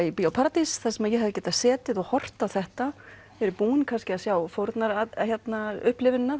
í Bíó paradís þar sem ég hefði getað setið og horft á þetta verið búin kannski að sjá fórnar upplifunina